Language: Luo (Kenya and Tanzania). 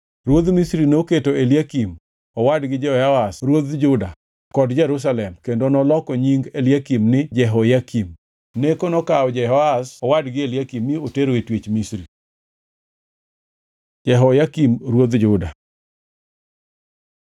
Ruodh Misri noketo Eliakim owadgi Jehoahaz ruodh Juda kod Jerusalem kendo noloko nying Eliakim ni Jehoyakim. Neko nokawo Jehoahaz owadgi Eliakim mi otero e twech Misri. Jehoyakim ruodh Juda